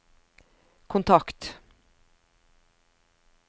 kontakt